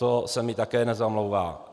To se mi také nezamlouvá.